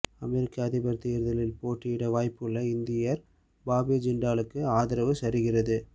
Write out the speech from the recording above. அமெரிக்க அதிபர் தேர்தலில் போட்டியிட வாய்ப்புள்ள இந்தியர் பாபி ஜின்டாலுக்கு ஆதரவு சரிகிறது